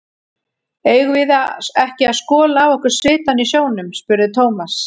Eigum við ekki að skola af okkur svitann í sjónum? spurði Thomas.